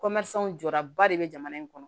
jɔraba de be jamana in kɔnɔ